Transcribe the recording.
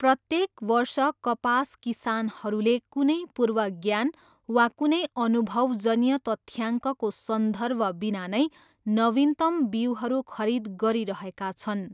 प्रत्येक वर्ष कपास किसानहरूले कुनै पूर्व ज्ञान वा कुनै अनुभवजन्य तथ्याङ्कको सन्दर्भबिना नै नवीनतम बिउहरू खरिद गरिरहेका छन्।